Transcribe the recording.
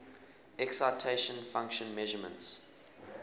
excitation function measurements